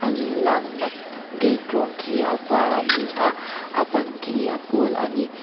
an lakna gate rawng khi a var a ni a a ban hi a pawl a ni.